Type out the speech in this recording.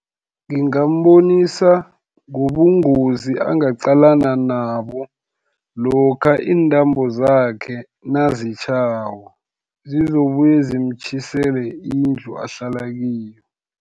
Ngingambonisa, ngobungozi angaqalana nabo, lokha iintambo zakhe nazitjhako, zizokubuye zimtjhisele indlu ahlala kiyo.